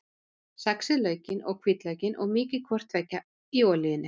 Saxið laukinn og hvítlaukinn og mýkið hvort tveggja í olíunni.